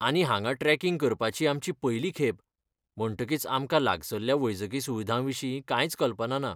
आनी हांगा ट्रॅकींग करपाची आमची पयली खेप, म्हणटकीच आमकां लागसल्ल्या वैजकी सुविधांविशीं कांयच कल्पना ना.